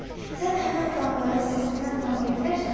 Sən həmən adamları səsinə tanıya bilərsənmi?